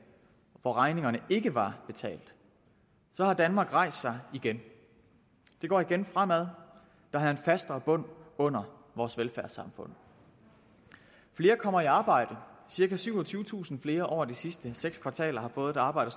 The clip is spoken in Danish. og hvor regningerne ikke var betalt har danmark rejst sig igen det går igen fremad der er en fastere bund under vores velfærdssamfund flere kommer i arbejde cirka syvogtyvetusind flere over de sidste seks kvartaler har fået et arbejde